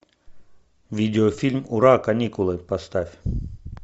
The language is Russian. видеофильм ура каникулы поставь